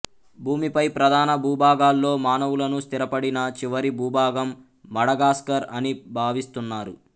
భూమిపై ప్రధాన భూభాగాల్లో మానవులను స్థిరపడిన చివరి భూభాగం మడగాస్కర్ అని భావిస్తున్నారు